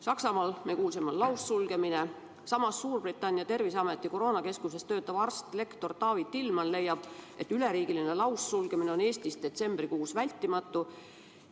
Saksamaal, nagu me kuulsime, on laussulgemine ja Suurbritannia terviseameti koroonakeskuses töötav arst-lektor Taavi Tillmann leiab, et üleriigiline laussulgemine on ka Eestis detsembrikuus vältimatu.